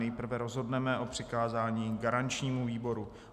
Nejprve rozhodneme o přikázání garančnímu výboru.